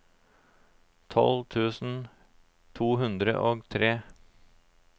tolv tusen to hundre og tre